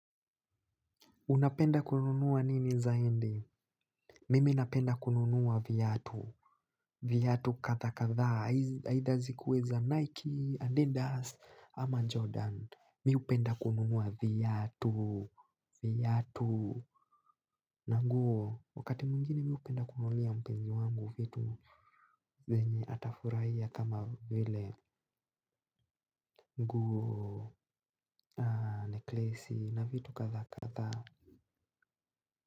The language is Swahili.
Unapenda kununua nini zaidi? Mimi napenda kununua viatu. Viatu kadhaa kadha. Either zikuweza Nike and adidas ama Jordan. Mi hupenda kununua viatu. Viatu. Na nguo. Wakati mwngine mi hupenda kununulia mpenzi wangu vitu. Zenye atafurahia kama vile nguo na neklesi na vitu kadhaa kadhaa.